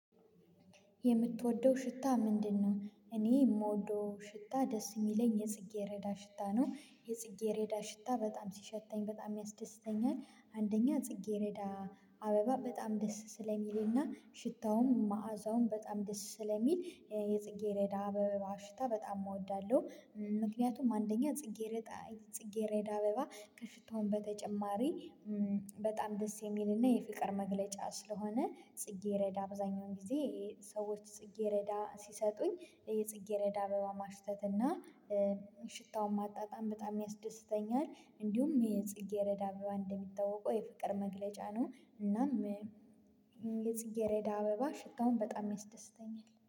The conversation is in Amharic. የምትወደው ሽታ ምንድነው? እኔ የምወደው ሽታ ደስ የሚለኝ የጽጌረዳ ሽታ ነው የጽጌረዳ ሽታ በጣም ሲሸተኝ በጣም ያስደስተኛል። አንደኛ ጽጌረዳ አበባ በጣም ደስ ስለሚልና ሽታውም መአዛውም በጣም ደስ ስለሚል የጽጌሬዳ አበባ ሽታ በጣም እወዳለሁ። ምክንያቱም አንደኛ ጽጌረዳ ጽጌረዳ አበባ ከሽታውም በተጨማሪ በጣም ደስ የሚልና የፍቅር መግለጫ ስለሆነ ጽጌረዳ አብዛኛውን ጊዜ ሰዎች ጽጌረዳ ሲሰጡኝ የጽጌ ረዳ አበባ ማሽተት እና ሽታውን ማጣጣም በጣም ያስደስተኛል። እንዲሁም የጽጌረዳ አበባ እንደሚታወቀው የፍቅር መግለጫ ነው። እናም የጽጌሬዳ አበባ ሽታውን በጣም ያስደስተኛል